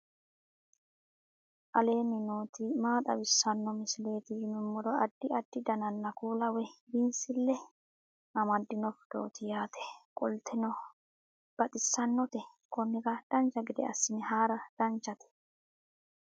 aleenni nooti maa xawisanno misileeti yinummoro addi addi dananna kuula woy biinsille amaddino footooti yaate qoltenno baxissannote konnira dancha gede assine haara danchate